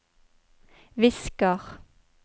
visker